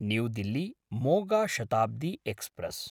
new Delhi-Moga Shatabdi express